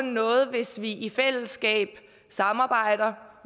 noget hvis vi samarbejder